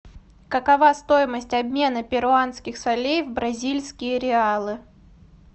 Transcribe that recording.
какова стоимость обмена перуанских солей в бразильские реалы